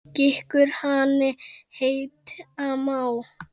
Gikkur hani heita má.